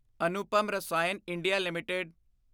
Anupam Rasayan India LTD